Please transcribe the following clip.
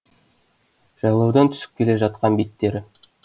жайлаудан түсіп келе жатқан беттері